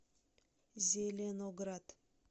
зеленоград